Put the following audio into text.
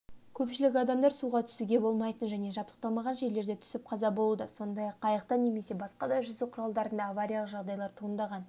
көпшілік адамдар суға түсуге болмайтын және жабдықталмаған жерлерде түсіп қаза болуда сондай-ақ қайықта немесе басқа да жүзу құралдарында авариялық жағдайлар туындаған